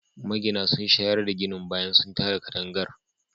Magina sun shayar da ginin bayan sun tada katangar